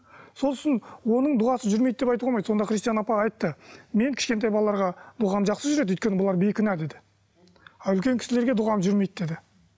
сосын оның дұғасы жүрмейді деп айтуға болмайды сонда христиан апа айтты мен кішкентай балаларға дұғам жақсы жүреді өйткені бұлар бейкүнә деді а үлкен кісілерге дұғам жүрмейді деді